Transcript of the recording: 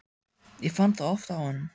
Ég fann það oft á honum.